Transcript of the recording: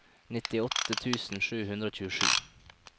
nittiåtte tusen sju hundre og tjuesju